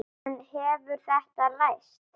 En hefur þetta ræst?